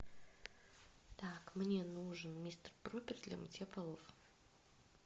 так мне нужен мистер пропер для мытья полов